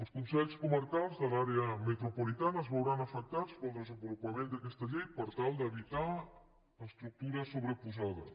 els consells comarcals de l’àrea metropolitana es veuran afectats pel desenvolupament d’aquesta llei per tal d’evitar estructures sobreposades